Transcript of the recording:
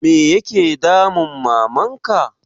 Me ya ke damun Maman ka?